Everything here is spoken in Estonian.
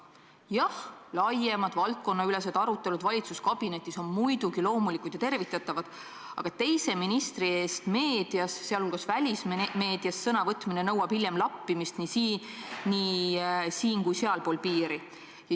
Jah, laiemad valdkonnaülesed arutelud valitsuskabinetis on muidugi loomulikud ja tervitatavad, aga teise ministri eest meedias, sealhulgas välismeedias sõna võtmine nõuab hiljem lappimist nii siin- kui sealpool piiri.